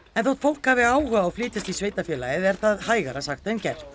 en þótt fólk hafi áhuga á að flytjast í sveitarfélagið er það hægara sagt en gert